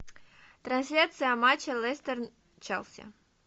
трансляция матча лестер челси